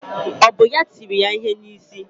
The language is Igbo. Ọ bụ ya tiri ya ihe n'isi?